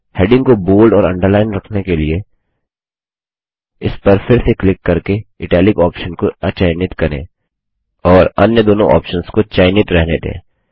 heading को bold और underlined रखने के लिए इस पर फिर से क्लिक करके इटालिक ऑप्शन को अचयनित करें और अन्य दोनों ऑप्शन्स को चयनित रहने दें